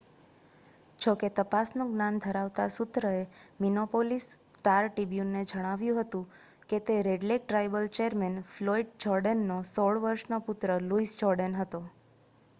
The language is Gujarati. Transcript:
જો કે તપાસનું જ્ઞાન ધરાવતા સૂત્ર એ મિનેપોલિસ સ્ટાર-ટ્રિબ્યુનને જણાવ્યું હતું કે તે Red Lake tribal chairman Floyd જોર્ડેનનો 16 વર્ષનો પુત્ર લુઇસ જોર્ડેન હતો